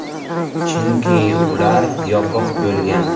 Chunki ular yopiq bo‘lgan.